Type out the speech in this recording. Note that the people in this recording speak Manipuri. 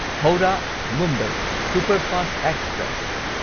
Howrah Mumbai superfast express